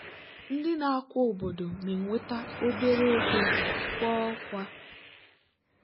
ndị na-akwa obodo na-enweta obere ego kwa ọkwa.